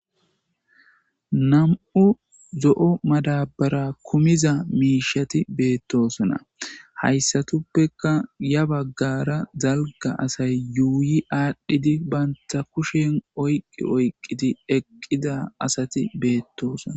nam7u zo7o madabara kumiza miishati beettosona hayssateppeka ya baggara dalga asay yuuyi aadhdhidi banta kushen oyqi oyqqidi eqqida asati beettoosona